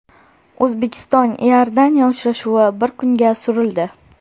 O‘zbekiston Iordaniya uchrashuvi bir kunga surildi.